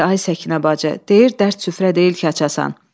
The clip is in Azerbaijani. Ey ay Səkinə bacı, deyir dərd süfrə deyil ki, açasan.